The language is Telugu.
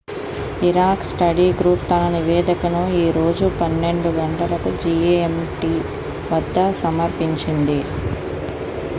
ఇరాక్ స్టడీ గ్రూప్ తన నివేదికను ఈ రోజు 12.00 జిఎంటి వద్ద సమర్పించింది